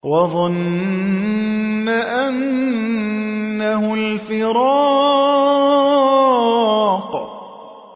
وَظَنَّ أَنَّهُ الْفِرَاقُ